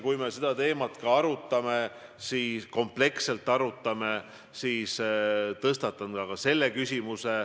Kui me seda teemat kompleksselt arutame, siis tõstatan kindlasti ka selle küsimuse.